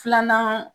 Filanan